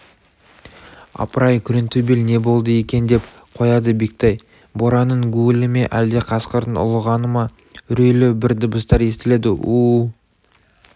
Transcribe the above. апырай күреңтөбел не болды екен деп қояды бектай боранның гуілі ме әлде қасқырдың ұлығаны ма үрейлі бір дыбыстар естіледі у-у